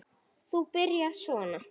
Þú byrjar svona.